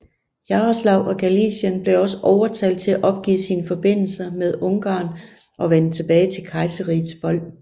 Yaroslav af Galicien blev også overtalt til at opgive sine forbindelser med Ungarn og vende tilbage til kejserrigets fold